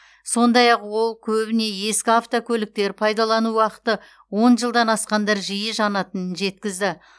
сондай ақ ол көбіне ескі автокөліктер пайдалану уақыты он жылдан асқандар жиі жанатынын жеткізді